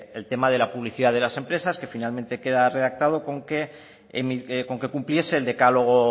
el tema de la publicidad de las empresas que finalmente queda redactado con que cumpliese el decálogo